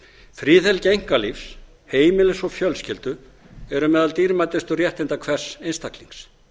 friðhelgi einkalífs heimilis og fjölskyldu eru meðal dýrmætustu réttinda hvers einstaklings